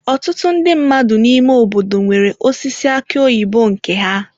Ọtụtụ ndị mmadụ n'ime obodo nwere osisi aki oyibo nke ha.